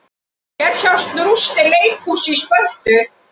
Hér sjást rústir leikhúss í Spörtu.